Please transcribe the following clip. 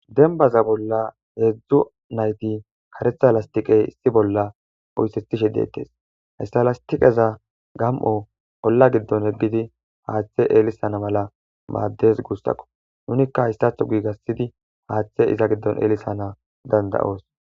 Dembaza bolla hezhu nayti karetha lastiqe issi bolla oysethishe de'etees. Ista lastiqezi gam'o olla gidon eqidi haathe ellisana mala maades gusako. Nunika haysatho oothidi haathe ellisana danda'os.